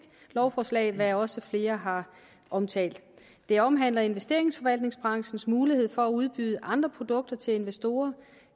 lovforslag hvad også flere har omtalt det omhandler investeringsforvaltningsbranchens mulighed for at udbyde andre produkter til investorer